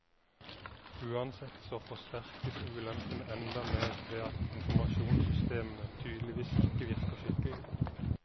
Uansett så forsterkes ulempene enda mer ved at informasjonssystemene tydeligvis ikke virker skikkelig.